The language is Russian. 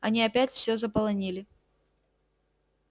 они опять всё заполонили